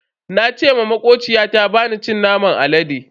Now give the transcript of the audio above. Na ce ma makociyata bana cin naman alade.